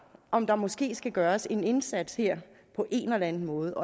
om der måske skal gøres en indsats her på en eller anden måde